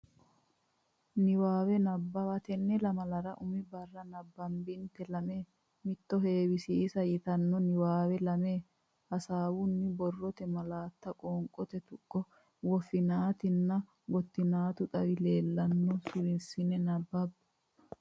Niwaawe Nabbawa Tenne lamalara umi barra nabbabbinita Lame Matto Heewisiisa yitanno niwaawe lami hasaawunni borrote malaatta qoonqote tuqqo woffinaatinna gottinaati xawe leellanno suwissine nabbabbe.